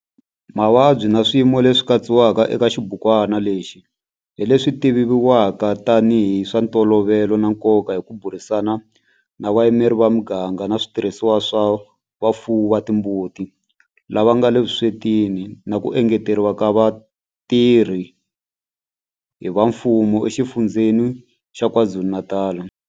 Mavabyi na swiyimo leswi katsiwaka eka xibukwana lexi hi leswi tivivwaka tanihi hi swa ntolovelo na nkoka hi ku burisana na vayimeri va miganga na switirhisiwa swa vafuwi va timbuti lava nga le vuswetini na ku engeteriwa ka vatirhi va mfumo eXifundzheni xa KwaZulu-Natal.